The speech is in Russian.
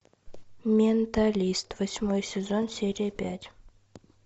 менталист восьмой сезон серия пять